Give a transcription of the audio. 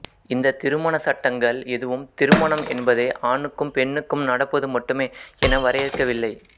இந்த திருமணச் சட்டங்கள் எதுவும் திருமணம் என்பதை ஆணுக்கும் பெண்ணுக்கும் நடப்பது மட்டுமே என வரையருக்கவில்லை